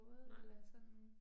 Nej